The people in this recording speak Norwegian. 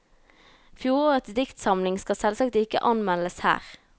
Fjorårets diktsamling skal selvsagt ikke anmeldes her.